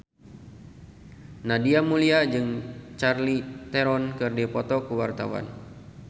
Nadia Mulya jeung Charlize Theron keur dipoto ku wartawan